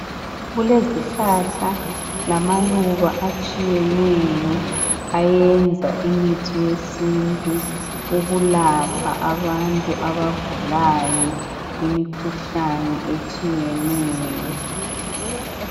Kulezihlahla lamaluba atshiyeneyo ayenza imithi yesintu ukulapha abantu abagulayo imikhuhlane etshiyeneyo.